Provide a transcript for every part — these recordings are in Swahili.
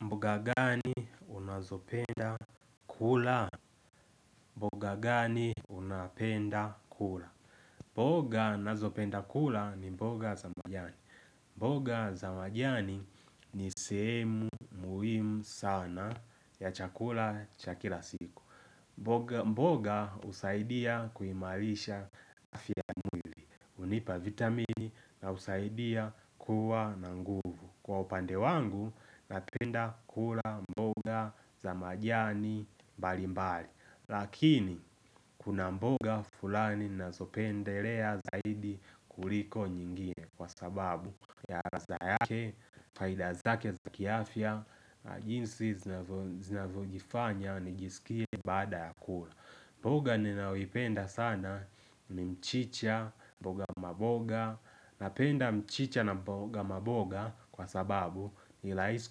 Mboga gani unazopenda kula? Mboga gani unapenda kula? Mboga nazopenda kula ni mboga za majani. Mboga za majani ni sehemu muhimu sana ya chakula cha kila siku. Mboga husaidia kuimarisha afya ya mwili. Hunipa vitamini na husaidia kuwa na nguvu. Kwa upande wangu, napenda kula mboga za majani mbali mbali Lakini, kuna mboga fulani nazopendelea zaidi kuliko nyingine Kwa sababu, ya ladha yake, faida zake za kiafya, jinsi zinavo zinavyojifanya, nijiskie baada ya kula mboga ninaoipenda sana, ni mchicha, mboga maboga Napenda mchicha na mboga maboga kwa sababu ni rahisi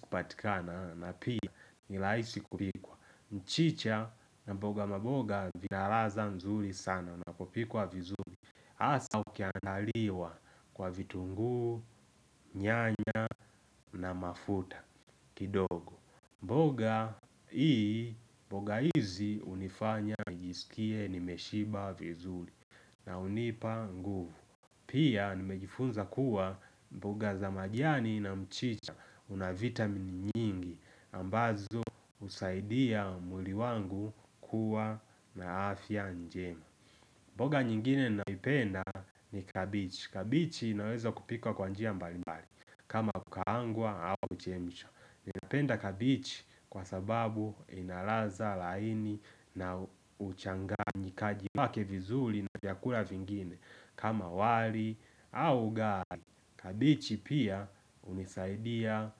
kupatikana na pia ni rahisi kupikwa mchicha na mboga maboga vina ladha nzuri sana unapopikwa vizuri hasa ukiandaliwa kwa vitunguu, nyanya na mafuta kidogo mboga hii, mboga hizi hunifanya nijiskie nimeshiba vizuri na hunipa nguvu Pia nimejifunza kuwa mboga za majani na mchicha una vitamini nyingi ambazo husaidia mwili wangu kuwa na afya njema mboga nyingine naipenda ni kabichi Kabichi inawezwa kupikwa kwa njia mbali mbali kama kukaangwa au kuchemshwa Ninapenda kabichi kwa sababu ina ladha laini na uchanganyikaji wake vizuri na chakula vingine, kama wali au ugali, kabichi pia hunisaidia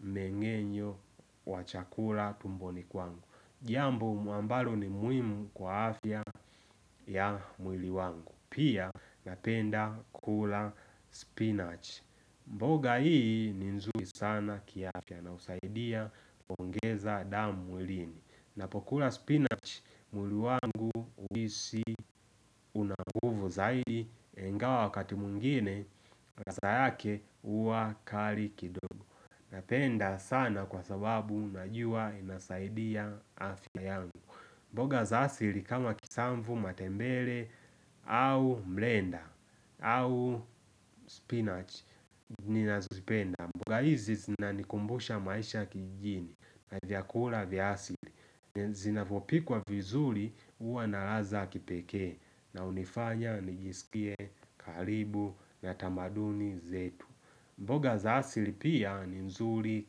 mengenyo wa chakula tumboni kwangu. Jambo mu ambalo ni muhimu kwa afya ya mwili wangu. Pia napenda kula spinach. Mboga hii ni nzuri sana kiafya na husaidia kuongeza damu mwilini. Napokula spinach mwili wangu uhisi una nguvu zaidi ingawa wakati mwingine ladha yake huwa kali kidogo Napenda sana kwa sababu najua inasaidia afya yangu mboga za asili kama kisamvu matembele au mlenda au spinach Ninazipenda mboga hizi zinanikumbusha maisha kijijini na vyakula vya asili Zinavopikwa vizuri huwa na raha za kipekee na hunifanya nijiskie karibu na tamaduni zetu mboga za asili pia ni nzuri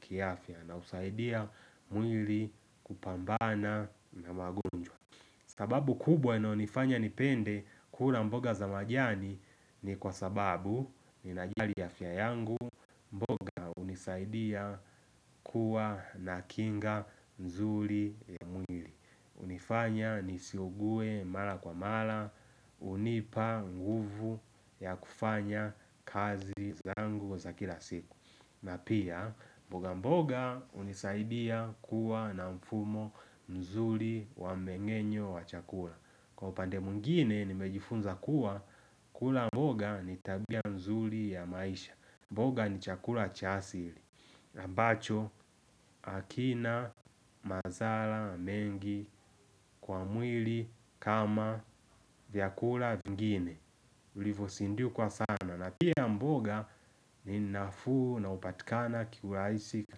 kiafya na husaidia mwili kupambana na magonjwa sababu kubwa inaonifanya nipende kula mboga za majani ni kwa sababu ninajali afya yangu mboga hunisaidia kuwa na kinga nzuri ya mwili hunifanya nisiugue mara kwa mara hunipa nguvu ya kufanya kazi zangu za kila siku na pia, mboga mboga hunisaidia kuwa na mfumo mzuri wa mengenyo wa chakula Kwa upande mwingine nimejifunza kuwa, kula mboga ni tabia nzuri ya maisha mboga ni chakula cha asili ambacho hakina madhara mengi kwa mwili kama vyakula vingine ulivosindikwa sana na pia mboga ni nafuu na hupatikana ki urahisi katika.